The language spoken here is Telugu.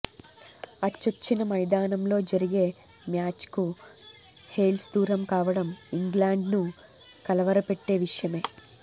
అచ్చొచ్చిన మైదానంలో జరిగే మ్యాచ్కు హేల్స్ దూరం కావడం ఇంగ్లాండ్ను కలవరపెట్టే విషయమే